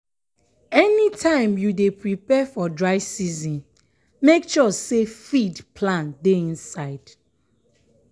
anytime you dey prepare for dry season make sure say feed plan dey inside.